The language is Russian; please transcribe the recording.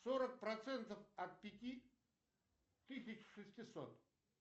сорок процентов от пяти тысяч шестисот